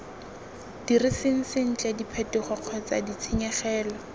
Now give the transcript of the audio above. diriseng sentle diphetogo kgotsa ditshenyegelo